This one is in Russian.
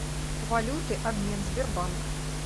валюты обмен сбербанк